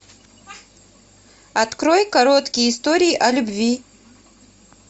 открой короткие истории о любви